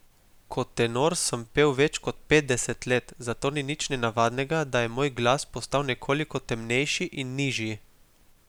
Kot tenor sem pel več kot petdeset let, zato ni nič nenavadnega, da je moj glas postal nekoliko temnejši in nižji.